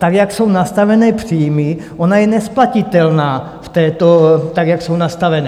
Tak, jak jsou nastavené příjmy, ona je nesplatitelná, tak jak jsou nastavené.